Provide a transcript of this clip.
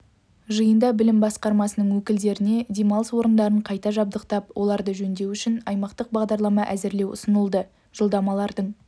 жиында білім басқармасының өкілдеріне демалыс орындарын қайта жабдықтап оларды жөндеу үшін аймақтық бағдарлама әзірлеу ұсынылды жолдамалардың